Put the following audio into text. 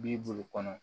B'i bulu kɔnɔ